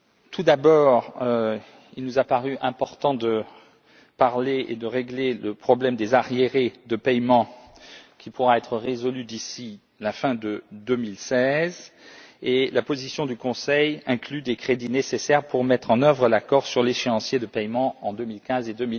Tout d'abord, il nous a paru important d'aborder et de régler le problème des arriérés de paiement, qui pourra être résolu d'ici fin 2016. La position du Conseil inclut des crédits nécessaires pour mettre en œuvre l'accord sur l'échéancier de paiement en 2015 et